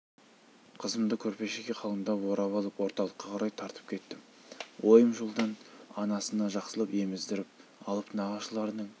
қызымды көрпешеге қалыңдап орап алып орталыққа қарай тартып кеттім ойым жолдан анасына жақсылап еміздіріп алып нағашыларының